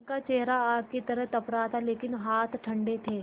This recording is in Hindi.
उनका चेहरा आग की तरह तप रहा था लेकिन हाथ ठंडे थे